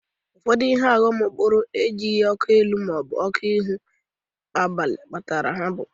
Ọfụdụ ihe ọghọm okporo bụrụ e jighi ọkụ ihu ma ọ bụ ọkụ etuli agba n'abalị kpatara ha.